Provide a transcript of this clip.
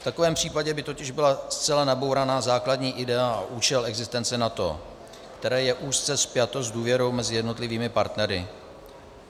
V takovém případě by totiž byla zcela nabourána základní idea i účel existence NATO, které je úzce spjato s důvěrou mezi jednotlivými partnery.